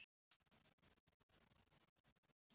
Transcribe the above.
Sonur þeirra er Hinrik.